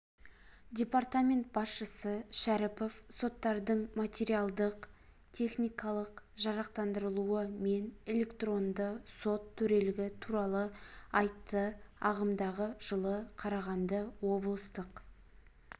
департамент басшысы шәріпов соттардың материалдық-техникалық жарақтандырылуы мен электронды сот төрелігі туралы айтты ағымдағы жылы қарағанды облыстық